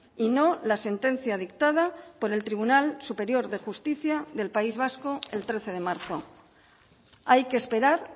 y no la sentencia dictada por el tribunal superior de justicia del país vasco el trece de marzo hay que esperar